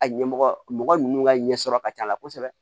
A ɲɛmɔgɔ mɔgɔ nunnu ka ɲɛsɔrɔ ka ca a la kosɛbɛ